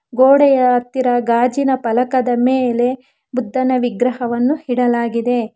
ಗೋಡೆಯ ಹತ್ತಿರ ಗಾಜಿನ ಫಲಕದ ಮೇಲೆ ಬುದ್ಧನ ವಿಗ್ರಹವನ್ನು ಇಡಲಾಗಿದೆ.